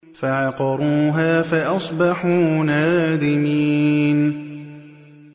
فَعَقَرُوهَا فَأَصْبَحُوا نَادِمِينَ